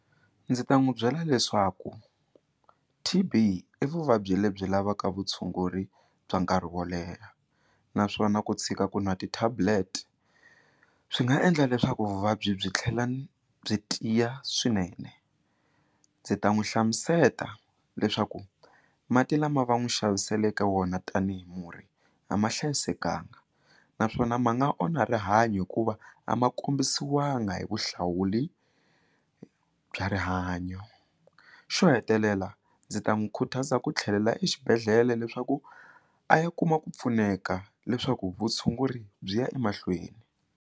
Ndzi ta n'wi byela leswaku T_B i vuvabyi lebyi lavaka vutshunguri bya nkarhi wo leha naswona ku tshika ku nwa ti-tablet swi nga endla leswaku vuvabyi byi tlhela byi tiya swinene ndzi ta n'wi hlamuseta leswaku mati lama va n'wi xaviseleke wona tanihi murhi a ma hlayisekanga naswona ma nga onha rihanyo hikuva a ma kombisiwanga hi vuhlawuli bya rihanyo xo hetelela ndzi ta n'wi khutaza ku tlhelela exibedhlele leswaku a ya kuma ku pfuneka leswaku vutshunguri byi ya emahlweni.